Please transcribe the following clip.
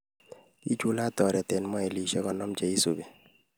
Kichulak oret eng mailishek konom cheisubi